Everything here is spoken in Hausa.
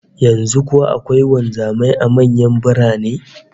Yanzu kuwa akwai wanzamai a manyan birane?